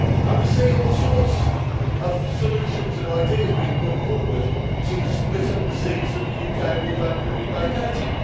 We see all sorts of solutions and ideas being put forward to split up the seats that the UK will thankfully be vacating.